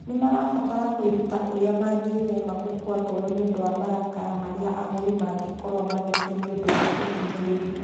Nĩ marabatara kwĩruta ũrĩa mangĩĩthema gũkua ngoro nĩ ũndũ wa marakara marĩa agũri mangĩkorũo magĩte nĩ ũndũ wa kũhinyĩrĩrio.